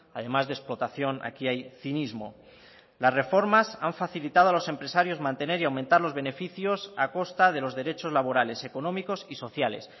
además de explotación aquí hay cinismo las reformas han facilitado a los empresarios mantener y aumentar los beneficios a costa de los derechos laborales económicos y sociales